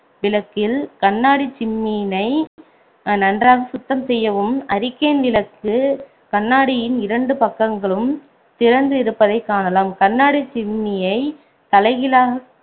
விளக்கில் கண்ணாடிச் சிம்னியினை நன்றாக சுத்தம் செய்யவும் அரிக்கேன் விளக்குக் கண்ணாடியின் இரண்டு பக்கங்களும் திறந்து இருப்பதைக் காணலாம் கண்ணாடிச் சிம்னியைத் தலைகீழாக